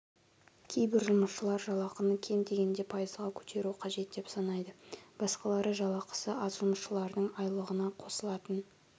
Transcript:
кейбір жұмысшылар жалақыны кем дегенде пайызға көтеру қажет деп санайды басқалары жалақысы аз жұмысшылардың айлығына қосылатын